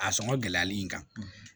A sɔngɔ gɛlɛyali in kan